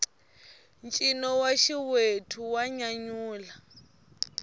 ncino wa xiwethu wa nyanyula